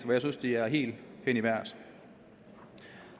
hvor jeg synes det er helt hen i vejret